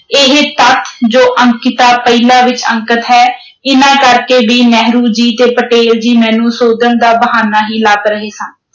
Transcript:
ਇਹ ਤੱਥ ਜੋ ਅੰਕਿਤਾ ਪਹਿਲਾ ਵਿਚ ਅੰਕਤ ਹਨ ਇਨ੍ਹਾਂ ਕਰਕੇ ਵੀ ਨਹਿਰੂ ਜੀ ਤੇ ਪਟੇਲ ਜੀ ਮੈਨੂੰ ਸੋਧਣ ਦਾ ਬਹਾਨਾ ਹੀ ਲੱਭ ਰਹੇ ਸਨ।